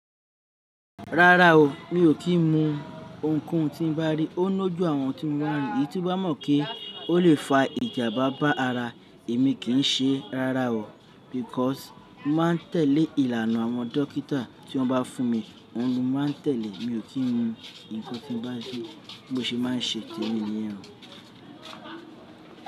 Rárá o, mi ò kí ń mu ounkóun tí n bá rí. Ó ńojú àwọn tí mo rí, i ti n bá mọ̀ pé ó lè fa ìjàmbá bá ara èmi kì í ṣe rárá o. Because mo máa ń tẹ̀lé ìlànà àwọn dọkítà tí wọ́n bá fún mi, òun ni mo máa ń tẹ̀lé. Mi ò kí ń mu nnkan tí n bá rí, bí mo ṣe máa ń ṣe témi nìyẹn.